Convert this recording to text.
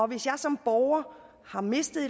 hvis jeg som borger har mistet